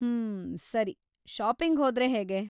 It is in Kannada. ಮ್ಮ್.. ಸರಿ, ಷಾಪಿಂಗ್‌ ಹೋದ್ರೆ ಹೇಗೆ?